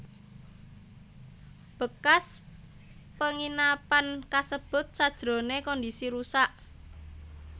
Bekas penginapan kasebut sajrone kondisi rusak